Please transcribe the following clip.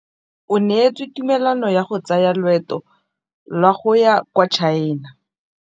O neetswe tumalanô ya go tsaya loetô la go ya kwa China.